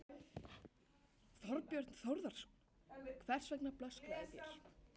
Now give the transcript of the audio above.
Þorbjörn Þórðarson: Hvers vegna blöskraði þér?